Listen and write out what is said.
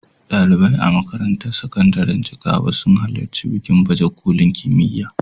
Ɗalibai a makarantar sakandiren Jigawa sun halarci bikin baje kolin kimiyya.